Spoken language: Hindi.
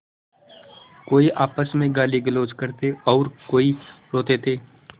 कोई आपस में गालीगलौज करते और कोई रोते थे